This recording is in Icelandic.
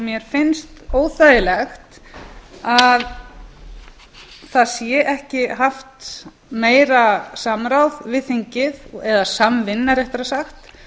mér finnst óþægilegt að það sé ekki haft meira samráð við þingið eða samvinna réttara sagt